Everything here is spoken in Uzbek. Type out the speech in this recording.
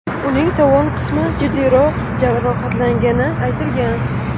Uning tovon qismi jiddiyroq jarohatlangani aytilgan.